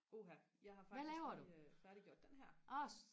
uha jeg har faktisk lige færdiggjort den her